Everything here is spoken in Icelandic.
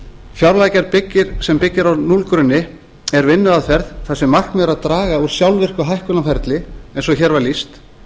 fjárlagagerð sem byggð á núllgrunni er vinnuaðferð þar sem markmiðið er draga úr sjálfvirku hækkunarferli eins og hér var lýst